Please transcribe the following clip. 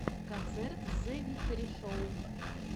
концерт зэвикторишоу